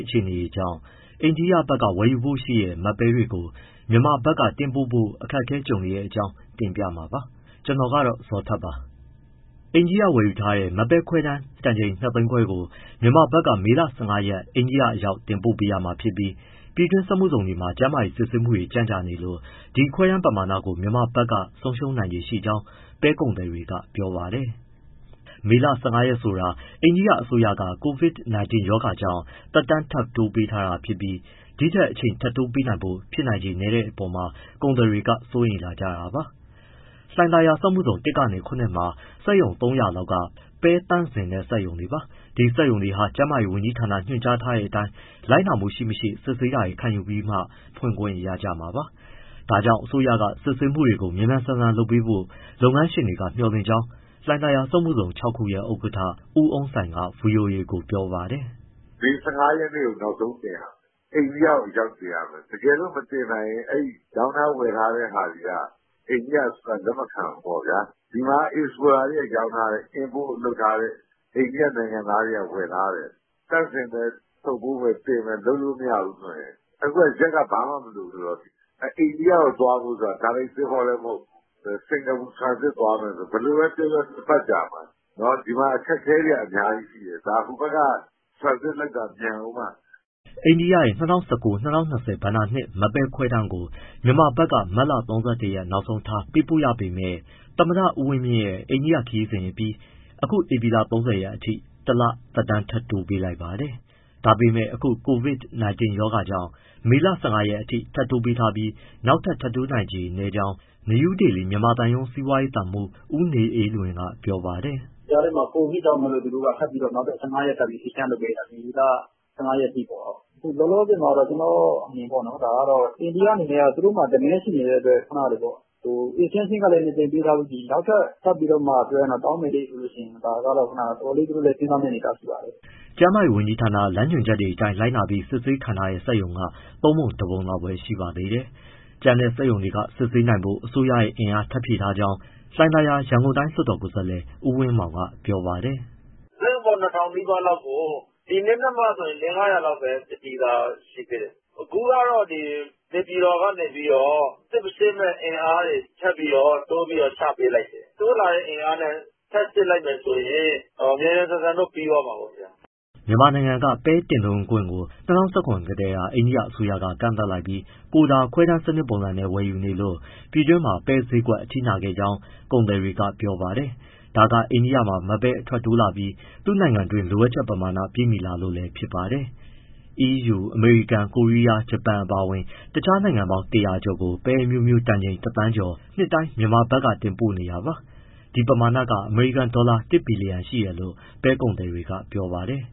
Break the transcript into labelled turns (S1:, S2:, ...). S1: အခြေအနေကြောင့် အိန္ဒိယဘက်က ဝယ်ယူဖို့ရှိတဲ့ မတ်ပဲတွေကို မြန်မာဘက်က တင်ပို့ဖို့ အခက်ကြုံနေတဲ့အကြောင်းကို ဗွီအိုအေမြန်မာပိုင်းသတင်းထောက် ကိုဇော်ထက်က တင်ပြပေးပါမယ်။ အိန္ဒိယ ဝယ်ယူထားတဲ့ မတ်ပဲ ခွဲတမ်းတန်ချိန် ၂ သိန်းခွဲကို မြန်မာဘက်က မေလ ၁၅ ရက် အိန္ဒိယအရောက် တင်ပို့ပေးရမှာဖြစ်ပြီး ပြည်တွင်းစက်မှုဇုန်တွေမှာ ကျန်းမာရေးစစ်ဆေးမှုတွေ ကြန့်ကြာနေလို့ ဒီခွဲတမ်းပမာဏကို မြန်မာဘက်က ဆုံးရှုံးနိုင်ခြေရှိကြောင်း ပဲကုန်သည်တွေက ပြောပါတယ်။ ဒီမေလ ၁၅ ရက် ဆိုတာ အိန္ဒိယ အစိုးရက COVID-19 ရောဂါကြောင့် သက်တမ်းထပ်တိုးပေးထားတာဖြစ်ပြီး၊ ဒီထက်အချိန်ထပ်တိုးပေးဖို့ ဖြစ်နိုင်ချေနည်းတဲ့အပေါ်မှာ ကုန်သည်တွေက စိုးရိမ်လာကြတာပါ။ လှိုင်သာယာမှာ စက်မှုဇုန် ၁ ကနေ ၇ မှာ စက်ရုံ ၃၀၀ လောက်က ပဲသန့်စင်စက်ရုံတွေပါ။ ဒီစက်ရုံတွေဟာ ကျန်းမာရေးဝန်ကြီးဌာန ညွှန်ကြားထားတဲ့အတိုင်း လိုက်နာမှုရှိ၊ မရှိ စစ်ဆေးတာတွေ ခံယူပြီးမှ ဖွင့်ခွင့်ရမှာပါ။ ဒါကြောင့် အစိုးရက စစ်ဆေးမှုတွေ မြန်မြန် ဆန်ဆန် လုပ်ပေးဖို့ လုပ်ငန်းရှင်တွေက မျှော်လင့်ကြောင်း လှိုင်သာယာ စက်မှုဇုန် ၆ ခုရဲ့ ဥက္ကဋ္ဌ ဦးအုန်းဆိုင်က ဗွီအိုအေကို ပြောပါတယ်
S2: ။ “မေ ၁၅ ရက်ကို နောက်ဆုံးတင်ရမယ်၊ အိန္ဒိယကို အရောက်တင်ရမယ်၊ တကယ်လို့ မတင်နိုင်ရင် အဲဒီရောင်းထား၊ ဝယ်ထားတဲ့ ဟာတွေက အိန္ဒိယအစိုးရက လက်မခံဘူးပေါ့ဗျာ။ ဒီမှာ အိတ်စပို့တာတွေက ရောင်းထားတယ်၊ import လုပ်ထားတဲ့ အိန္ဒိယနိုင်ငံသားတွေက ဝယ်ထားတယ်၊ သန့်စင်မယ်၊ ထုပ်ပိုးမယ်၊ တင်မယ် လုပ်လို့မရဘူးဆိုရင် အခုက ရက်က ဘာမှမလိုဘူးဆိုတော့၊ အိန္ဒိယကို သွားမယ်ဆိုတာ တိုက်ရိုက်သင်္ဘောလည်း မဟုတ်ဘူး၊ စင်္ကာပူ transit သွားမယ်ဆိုတော့ ဘယ်လိုပဲပြောပြော ၂ ပတ်ကြာမှာ။ ဒီမှာ အခက်အခဲတွေက အများကြီးရှိတယ်၊ ဒါ ဟိုဘက်က transit လုပ်တာ မြန်ဦးမှ။”
S1: အိန္ဒိယရဲ့ ၂၀၁၉-၂၀၂၀ ဘဏ္ဍာနှစ် မတ်ပဲခွဲတမ်းကို မြန်မာဘက်က မတ်လ ၃၁ ရက် နောက်ဆုံးထားပို့ပေးရပေမဲ့ သမ္မတဦးဝင်းမြင့်အိန္ဒိယ ခရီးစဉ်အပြီး အခုဧပြီလ ၃၀ ရက်အထိ တလထပ်တိုးပေးလိုက်ပါတယ်။ ဒါပေမဲ့ အခု COVID-19 ရောဂါကြောင့် မေလ ၁၅ ရက်အထိ ထပ်တိုးပေးထားပြီး နောက်ထပ် ထပ်တိုးနိုင်ခြေနည်းကြောင်း နယူးဒေလီ မြန်မာသံရုံး စီးပွားရေးသံမှူး ဦးနေအေးလွင်က ပြောပါတယ်။ “
S2: ဒီကြားထဲမှာ COVID ကြောင့်မို့ နောက်ထပ် ၁၅ ရက် extension ထပ်လုပ်ပေးလိုက်တာ မေလ ၁၅ ရက်အထိပေါ့။ လောလောဆယ် ကျနော့်အမြင်ပေါ့ အိန္ဒိယအနေနဲ့ သူ့မှာ demand ရှိနေတဲ့အတွက် ခုနကလို extension ကလည်း ၂ ကြိမ်ပေးထားပြီးပြီ နောက်ထပ် ထပ်ပြီးတောင်းမယ်ဟေ့ ဆိုလို့ရှိရင် ဒါကတော့ သူတို့လည်း တော်တော်လေး စဉ်းစားမယ့်အနေအထား ရှိပါတယ်
S1: ။” ကျန်းမာရေးဝန်ကြီးဌာန လမ်းညွှန်ချက်အတိုင်း လိုက်နာပြီး စစ်ဆေးခံထားထားတဲ့ စက်ရုံက သုံးပုံ တပုံလောက်ပဲ ရှိပါသေးတယ်။ ကျန်တဲ့ စက်ရုံတွေ စစ်ဆေးနိုင်ဖို့ အစိုးရက အင်အားထပ်ဖြည့်ထားကြောင်း လှိုင်ယာသာ ရန်ကုန်တိုင်း လွှတ်တော်ကိုယ်စားလှယ် ဦးဝင်းမောင်က ပြောပါတယ်
S2: ။ “စက်ရုံပေါင်း ၂,၀၀၀ နီးပါးလောက်ကို ဒီနေ့နဲ့မှ ၄၊ ၅၀၀ လောက်ပဲ စစ်ပြီးသားရှိတယ်၊ အခုကတော့ နေပြည်တော်ကနေ စစ်ဆေးမယ့် အင်အားတွေ ထပ်ပြီး တိုးချပေးလိုက်တယ်၊ တိုးလာတဲ့အင်အားနဲ့ ထပ်စစ်လိုက်မယ်ဆိုရင် မြန်မြန် ဆန်ဆန်တော့ ပြီးသွ
S1: ားမှာပေါ့။” မြန်မာနိုင်ငံက ပဲတင်သွင်းခွင့်ကို ၂၀၁၇ ကတည်းက အိန္ဒိယ အစိုးရက ကန့်သတ်လိုက်ပြီး ကိုတာ (ခွဲတမ်း) ပုံစံနဲ့ ဝယ်ယူနေလို့ ပြည်တွင်းမှာ ပဲဈေးကွက် အထိနာခဲ့ကြောင်း ကုန်သည်တွေကပြောပါတယ်။ ဒါက အိန္ဒိယမှာ မတ်ပဲအထွက်တိုးလာပြီး သူ့နိုင်ငံတွင်း လိုအပ်ချက်ပမာဏ ပြည့်မီလာလို့ ဖြစ်ပါတယ်။ အီးယူ၊ အမေရိကန်၊ ကိုရီးယား၊ ဂျပန် အပါအဝင် တခြားနိုင်ငံပေါင်း ၁၀၀ ကျော်ကို ပဲအမျိုးအမျိုး တန်ချိန် ၁,၀၀၀,၀၀၀ ကျော်နှစ်တိုင်း မြန်မာဘက်က တင်ပို့နေတာပါ။ ဒီပမာဏက အမေရိကန်ဒေါ်လာ ၁ ဘီလီယံ ရှိတယ်လို့ ပဲကုန်သည်တွေက ပြောပါတယ်